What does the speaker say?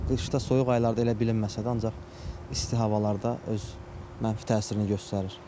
Qışda, soyuq aylarda elə bilinməsə də, ancaq isti havalarda öz mənfi təsirini göstərir.